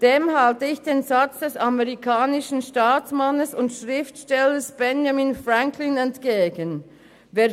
» Dem halte ich den Satz des amerikanischen Staatsmanns und Schriftstellers Benjamin Franklin entgegen: «